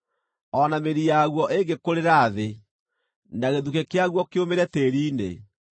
O na mĩri yaguo ĩngĩkũrĩra thĩ na gĩthukĩ kĩaguo kĩũmĩre tĩĩri-inĩ,